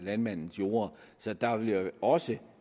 landmændenes jorde så der vil jo også